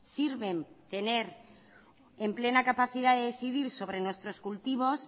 sirven tener en plena capacidad de decidir sobre nuestros cultivos